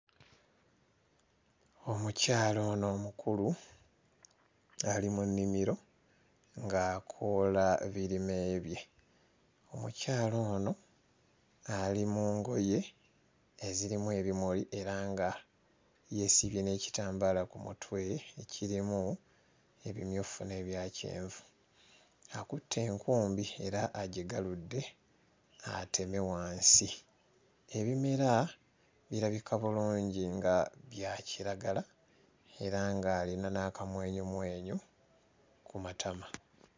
Omukyala ono omukulu ali mu nnimiro ng'akoola birime bye. Omukyala ono ali mu ngoye ezirimu ebimuli era nga yeesibye n'ekitambaala ku mutwe ekirimu ebimyufu n'ebya kyenvu. Akutte enkumbi era agigaludde ateme wansi. Ebimera birabika bulungi nga bya kiragala era ng'alina n'akamwenyumwenyu ku matama.